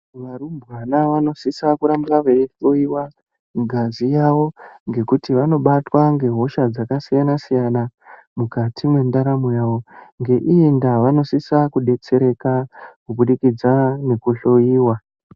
Varumbwana vanosisa kuenda kunohloyiwa ngazi yavo nguwa ngenguwa ngekuti vanobatwa ngehosha dzakasiyana siyana mukati mendaramo yavo ngeiyi ndaa vanosisa kudetsereka ngekuhloiwa.